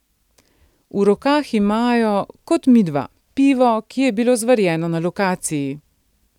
V rokah imajo kot midva pivo, ki je bilo zvarjeno na lokaciji.